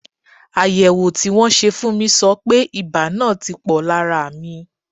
Àyẹ̀wò tí wọ́n ṣe fún mi sọ pé ibà náà ti pò lára mi.